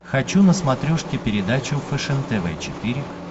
хочу на смотрешке передачу фэшен тв четыре к